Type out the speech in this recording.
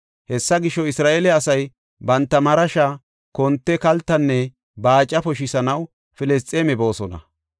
Hessa gisho, Isra7eele asay banta marasha, konte, kaltanne baaca poshisanaw Filisxeeme boosona.